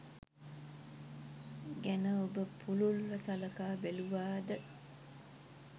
ගැන ඔබ පුළුල්ව සලකා බැලුවාද?